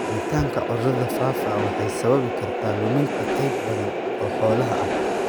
Jiritaanka cudurrada faafa waxay sababi kartaa luminta qayb badan oo xoolaha ah.